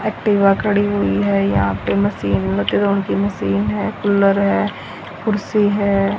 Activa खड़ी हुई है यहां पे मशीन मोटरों की मशीन है कूलर है कुर्सी है।